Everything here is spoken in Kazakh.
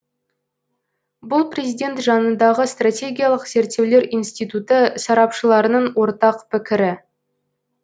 бұл президент жанындағы стратегиялық зерттеулер институты сарапшыларының ортақ пікірі